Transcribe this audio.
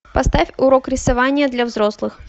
поставь урок рисования для взрослых